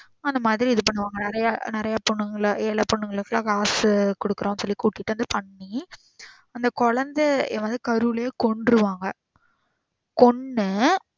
அந்த மாறி இது பண்ணுவாங்க நிறைய பொண்ணுங்கள, ஏல பொண்ணுங்கள full ஆ காசு குடுக்குறோம் சொல்லி கூப்ட்டு வந்து பண்ணி அந்த கொழந்த யாரோ கருவுலையே கொன்றுவாங்க. கொன்னு